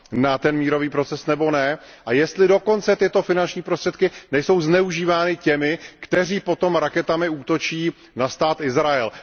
na mírový proces nebo ne a jestli dokonce tyto finanční prostředky nejsou zneužívány těmi, kteří potom raketami útočí na stát Izrael.